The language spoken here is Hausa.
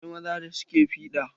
Akwai maza da suke fiɗa.